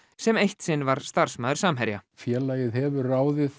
sem eitt sinn var starfsmaður Samherja félagið hefur ráðið